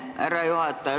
Aitäh, härra juhataja!